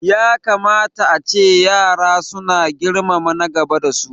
Ya kamata ace yara su na girmama na gaba da su